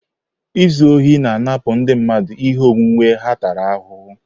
Izu ohi na-anapụ ndị mmadụ ihe onwunwe ha tara ahụhụ.